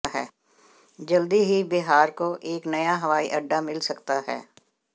जल्दी ही बिहार को एक नया हवाई अड्डा मिल सकता है